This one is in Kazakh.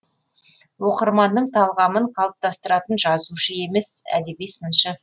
оқырманның талғамын қалыптастыратын жазушы емес әдеби сыншы